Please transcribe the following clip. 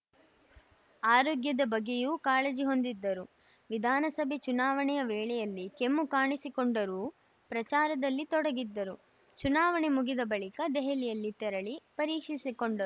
ಆರೋಗ್ಯದ ಬಗ್ಗೆಯೂ ಕಾಳಜಿ ಹೊಂದಿದ್ದರು ವಿಧಾನಸಭೆ ಚುನಾವಣೆ ವೇಳೆಯಲ್ಲಿ ಕೆಮ್ಮು ಕಾಣಿಸಿಕೊಂಡರೂ ಪ್ರಚಾರದಲ್ಲಿ ತೊಡಗಿದ್ದರು ಚುನಾವಣೆ ಮುಗಿದ ಬಳಿಕ ದೆಹಲಿಗೆ ತೆರಳಿ ಪರೀಶಿಸಿ ಕೊಂಡರು